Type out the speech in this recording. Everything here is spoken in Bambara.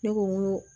Ne ko n ko